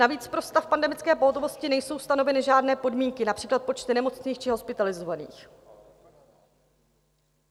Navíc pro stav pandemické pohotovosti nejsou stanoveny žádné podmínky, například počty nemocných či hospitalizovaných.